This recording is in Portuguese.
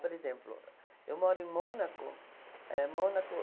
Por exemplo, eu moro em Mônaco, eh Mônaco